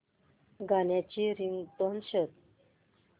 गाण्याची रिंगटोन शोध